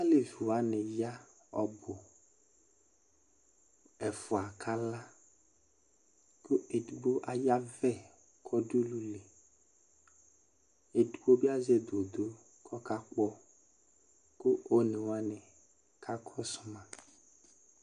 Alevi wani ya ɔbʋ: Ɛfua kala, kʋ edigbo ayavɛ k'ɔdʋ ululi, edigbo bi azɛ dodo k'ɔkakpɔ kʋ onewani ka kɔsʋ ma